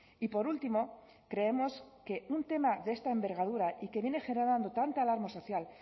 y por último creemos que un tema de esta envergadura y que viene generando tanta alarma social